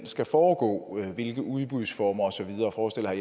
skal foregå hvilke udbudsformer og så videre forestiller